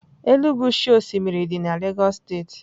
Elegushi osimiri dị na Lagos steeti.